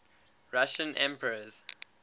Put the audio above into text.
russian emperors